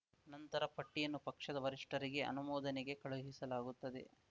ನಂತರ ಪಟ್ಟಿಯನ್ನು ಪಕ್ಷದ ವರಿಷ್ಠರಿಗೆ ಅನುಮೋದನೆಗೆ ಕಳುಹಿಸಲಾಗುತ್ತದೆ